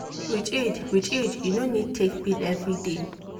with iud with iud you no need take pill every day.